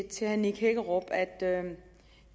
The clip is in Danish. herre nick hækkerup at